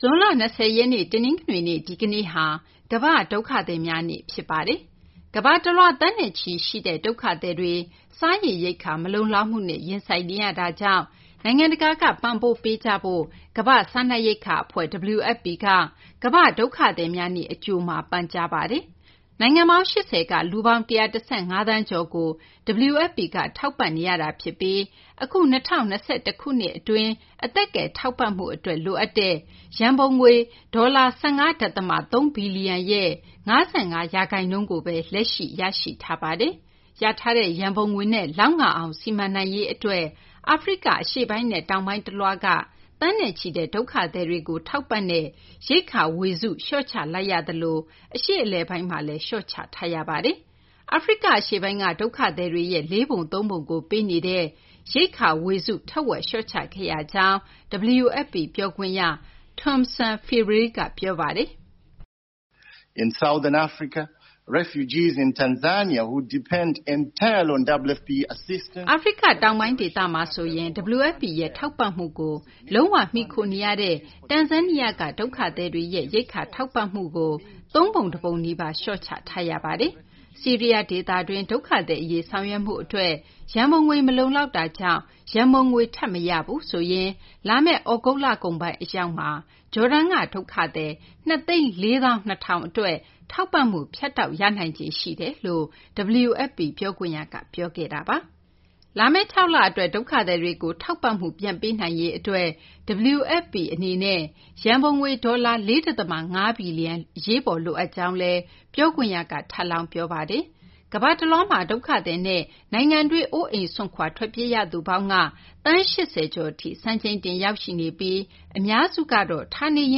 ဇွန်လ ၂၀ ရက်နေ့ တနင်္ဂနွေနေ့ ဒီကနေ့ဟာ ကမ္ဘာ့ဒုက္ခသည်များနေ့ ဖြစ်ပါတယ်။ ကမ္ဘာတလွှား သန်းနဲ့ချီရှိတဲ့ ဒုက္ခသည်တွေ စားရေရိက္ခာ မလုံလောက်မှုနဲ့ ရင်ဆိုင်နေရတာကြောင့် နိုင်ငံတကာက ပံ့ပိုးပေးကြဖို့ ကမ္ဘာ့စားနပ်ရိက္ခာအဖွဲ့ (WFP) က ကမ္ဘာ့ဒုက္ခသည်များနေ့ အကြိုမှာ ပန်ကြားလိုက်ပါတယ်။ နိုင်ငံပေါင်း ၈၀ က လူပေါင်း ၁၁၅ သန်းကျော်ကို WFP က ထောက်ပံ့နေရတာဖြစ်ပြီး အခု ၂၀၂၁ ခုနှစ်အတွင်း အသက်ကယ် ထောက်ပံ့မှုအတွက် လိုအပ်တဲ့ ရန်ပုံငွေ ဒေါ်လာ ၁၅ ဒသမ ၃ ဘီလျံရဲ့ ၅၅ ရာခိုင်နှုန်းကိုပဲ လက်ရှိ ရရှိထားတာပါ။ ရထားတဲ့ ရန်ပုံငွေနဲ့ လောက်ငအောင် စီမံနိုင်ရေးအတွက် အာဖရိက အရှေ့ပိုင်းနဲ့ တောင်ပိုင်းတလွှားက သန်းနဲ့ချီတဲ့ ဒုက္ခသည်တွေကို ထောက်ပံ့တဲ့ ရိက္ခာဝေစု လျှော့ချလိုက်ရသလို အရှေ့အလယ်ပိုင်းမှာလည်း လျှော့ချထားရပါတယ်။ အာဖရိက အရှေ့ပိုင်းက ဒုက္ခသည်တွေရဲ့ လေးပုံသုံးပုံကို ပေးနေတဲ့ ရိက္ခာဝေစု ထက်ဝက်လျှော့ချခဲ့ရကြောင်း WFP ပြောခွင့်ရ Tomson Phiri က ပြောပါတယ်။ “အာဖရိက တောင်ပိုင်းဒေသမှာဆိုရင် WFP ရဲ့ ထောက်ပံ့မှုကို လုံးဝ မှီခိုနေရတဲ့ တန်ဇန်းနီးယားက ဒုက္ခသည်တွေရဲ့ ရိက္ခာထောက်ပံ့မှုကို သုံးပုံတပုံနီးပါး လျှော့ချထားရပါတယ်။ ဆီးရီးယားဒေသတွင်း ဒုက္ခသည်အရေး ဆောင်ရွက်မှုအတွက် ရန်ပုံငွေ မလုံလောက်တာကြောင့် ရန်ပုံငွေ ထပ်မရဘူးဆိုရင် လာမယ့် သြဂုတ်လကုန်ပိုင်း အရောက်မှာ ဂျော်ဒန်က ဒုက္ခသည် ၂၄၂,၀၀၀ အတွက် ထောက်ပံ့မှု ဖြတ်တောက်ရနိုင်ခြေ ရှိပါတယ်။” လို့ WFP ပြောခွင့်ရက ပြောခဲ့တာပါ။ လာမယ့် ၆ လအတွက် ဒုက္ခသည်တွေကို ထောက်ပံ့မှု ပြန်လည်ပေးအပ်နိုင်ရေးအတွက် WFP အနေနဲ့ ရန်ပုံငွေ ဒေါ်လာ ၄ ဒသမ ၅ ဘီလျံ အရေးပေါ် လိုအပ်ကြောင်းလည်း ပြောခွင့်ရက ထပ်လောင်း ပြောပါတယ်။ ကမ္ဘာတလွှားမှာ ဒုက္ခသည်နဲ့ နိုင်ငံတွင်း အိုးအိမ်စွန့်ခွာ ထွက်ပြေးရသူပေါင်းက သန်း ၈၀ ကျော်ထိ စံချိန်တင် ရောက်ရှိနေပြီး အများစုကတော့ ဌာနေရ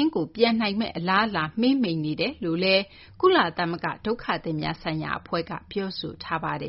င်းကို ပြန်နိုင်မယ့် အလားအလာ မှေးမှိန်နေတယ်လို့လည်း ကုလသမဂ္ဂ ဒုက္ခသည်များဆိုင်ရာအဖွဲ့က ပြောဆိုထားပါတယ်